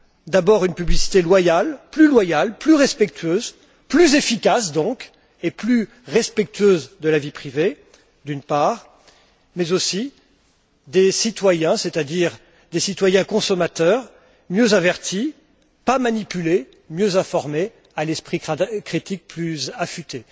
D'abord une publicité loyale, plus loyale, plus respectueuse, plus efficace donc et plus respectueuse de la vie privée mais aussi des citoyens, c'est à dire des citoyens consommateurs, mieux avertis, pas manipulés, mieux informés, à l'esprit critique plus affûté.